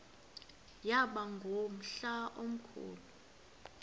yaba ngumhla omkhulu